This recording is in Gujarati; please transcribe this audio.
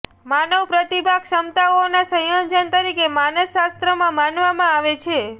માનવ પ્રતિભા ક્ષમતાઓના સંયોજન તરીકે માનસશાસ્ત્રમાં માનવામાં આવે છે